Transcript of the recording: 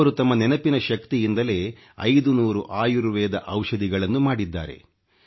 ಅವರು ತಮ್ಮ ನೆನಪಿನ ಶಕ್ತಿಯಿಂದಲೇ 5 ನೂರು ಆಯುರ್ವೇದ ಔಷಧಿಗಳನ್ನು ಮಾಡಿದ್ದಾರೆ